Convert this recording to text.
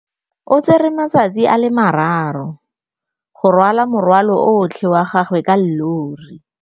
O tsere malatsi a le marraro go rwala morwalo otlhe wa gagwe ka llori.